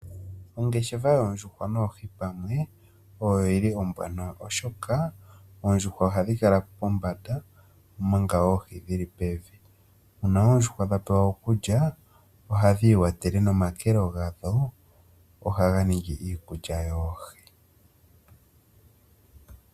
Ongeshefa yoondjuhwa noohi pamwe oyo yili ombwanawa oshoka oondjuhwa ohadhi kala pombanda omanga oohi dhili pevi. Uuna oodjuhwa dha pewa okulya ohadhi iwatele nomakelo gadho ohaga ningi iikulya yoohi.